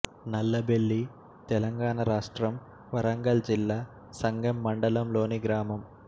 నల్లబెల్లి తెలంగాణ రాష్ట్రం వరంగల్ జిల్లా సంగెంమండలం లోని గ్రామం